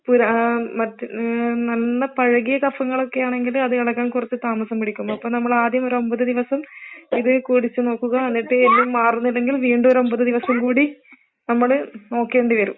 ഉും നല്ല പഴകിയ കഫങ്ങളൊക്കെയാണെങ്കില് അത് ഇളകാൻ കുറച്ച് താമസം പിടിക്കും അപ്പൊ നമ്മൾ ആദ്യം ഒരു ഒമ്പത് ദിവസം ഇത് കുടിച്ച് നോക്കുക എന്നിട്ട് ഇത് മാറുന്നില്ലെങ്കിൽ വീണ്ടും ഒരു ഒമ്പത് ദിവസം കൂടി നമ്മള് നോക്കേണ്ടി വരും